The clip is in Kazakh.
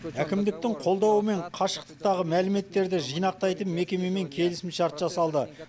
әкімдіктің қолдауымен қашықтықтағы мәліметтерді жинақтайтын мекемемен келісімшарт жасалды